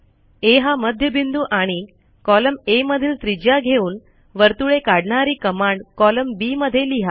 आ हा मध्यबिंदू आणि कॉलमAमधील त्रिज्या घेऊन वर्तुळे काढणारी कमांड कॉलम बी मध्ये लिहा